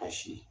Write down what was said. A si